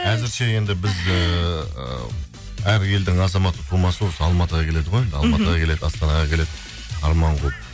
әзірше енді біз ііі әр елдің азаматы тумасы осы алматыға келеді ғой енді алматыға келеді астанаға келеді арман қуып